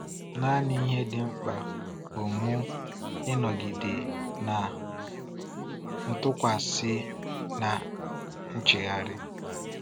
Naanị ihe dị mkpa bụ mụ ịnọgide na ntụkwasị na nchegharị.